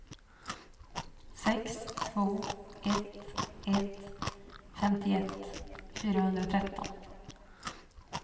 sex två ett ett femtioett fyrahundratretton